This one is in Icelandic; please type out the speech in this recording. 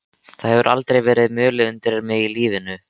Það hefur aldrei verið mulið undir mig í lífinu.